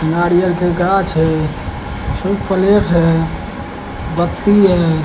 नारियल के गाछ है फिर पलेट है बत्ती है--